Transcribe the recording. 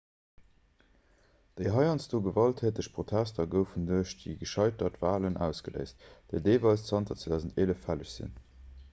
déi heiansdo gewalttäteg protester goufen duerch déi gescheitert walen ausgeléist déi deelweis zanter 2011 fälleg sinn